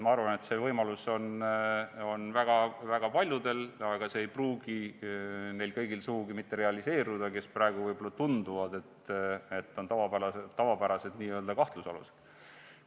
Ma arvan, et see võimalus on väga paljudel, aga see ei pruugi kõigil neil sugugi mitte realiseeruda, kes praegu võib-olla tunduvad n-ö tavapäraste kahtlusalustena.